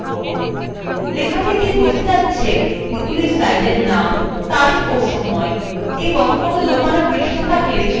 লেখা থেকেই বোঝা যাচ্ছে এগুলি slideএর name তারিখ of সময় এবং কোনো লোকানো পৃষ্ঠা থাকলে সেটি ছাপবে